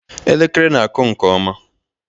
Elekere na-akụ nke ọma